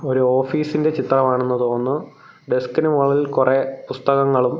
ഒരു ഓഫീസിൻ്റെ ചിത്രമാണെന്ന് തോന്നുന്നു ഡെസ്കിന് മോളിൽ കൊറേ പുസ്തകങ്ങളും.